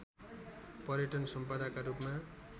पर्यटन सम्पदाका रूपमा